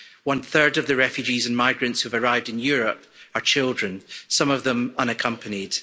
One third of the refugees and migrants who have arrived in Europe are children, some of them unaccompanied.